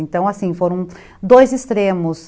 Então, assim, foram dois extremos.